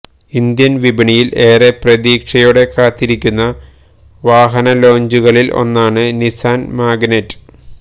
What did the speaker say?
Indian വിപണിയിൽ ഏറെ പ്രതീക്ഷയോടെ കാത്തിരിക്കുന്ന വാഹന ലോഞ്ചുകളിൽ ഒന്നാണ് നിസാൻ മാഗ്നൈറ്റ്